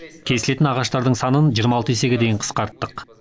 кесілетін ағаштардың санын жиырма алты есеге дейін қысқарттық